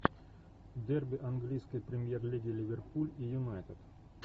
дерби английской премьер лиги ливерпуль и юнайтед